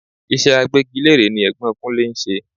Iṣẹ́ agbégilére ni Ẹ̀gbọ́n Kunlè ń ṣe.